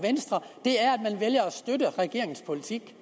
venstre er at man vælger at støtte regeringens politik